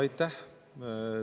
Aitäh!